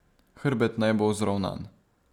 Hrbet naj bo vzravnan.